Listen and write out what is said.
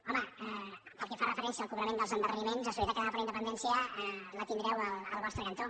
home pel que fa referència al cobrament dels endarreriments a solidaritat catalana per la independència la tindreu al vostre cantó